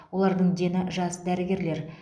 олардың дені жас дәрігерлер